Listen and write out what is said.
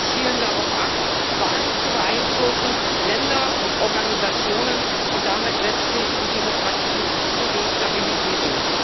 zielen darauf ab, Wahlen zu beeinflussen, Länder und Organisationen und damit letztlich die Demokratie zu destabilisieren.